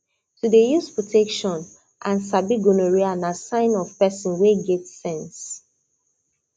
to dey use protection and sabi gonorrhea na sign of person wey get sense